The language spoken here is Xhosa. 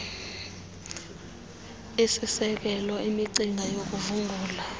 isiselo imicinga yokuvungula